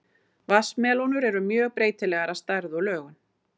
Vatnsmelónur eru mjög breytilegar að stærð og lögun.